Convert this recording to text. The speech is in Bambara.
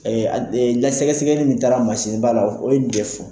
a d ŋa sɛgɛsɛgɛli min taara mansiba la o ye n de fɔ.